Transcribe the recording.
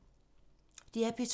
DR P2